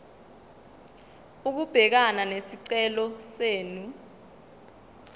ukubhekana nesicelo senu